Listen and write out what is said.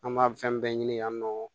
An b'a fɛn bɛɛ ɲini yan nɔ